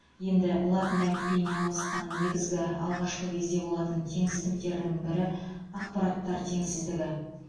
енді латын әліпбиіне ауысқан негізгі алғашқы кезде болатын теңсіздіктердің бірі ақпараттар теңсіздігі